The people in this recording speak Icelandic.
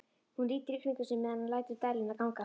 Hún lítur í kringum sig meðan hann lætur dæluna ganga.